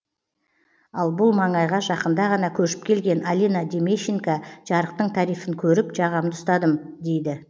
ал бұл маңайға жақында ғана көшіп келген алина демещенко жарықтың тарифін көріп жағамды ұстадым дейді